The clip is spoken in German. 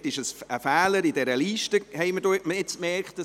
Es handelt sich um einen Fehler in der Liste, den wir nun bemerkt haben.